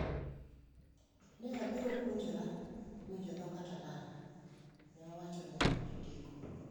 “Ne abiro puonjora winjo dho Catalan,” ne owacho ne jondiko.